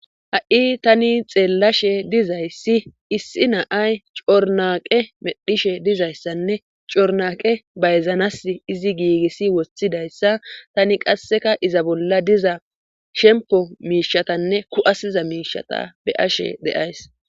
ha7i tani xeellashe dizayssi issi naay cornaqe medhishe dizayssanne cornaqe bayzanas izi giigissi woththidayssa tani qasseka iza bolla diza shempo miishatanne ku7asiza miishata be ashe deays